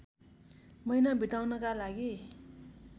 महिना बिताउनका लागि